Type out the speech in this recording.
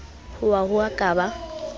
hoa ho a ka ba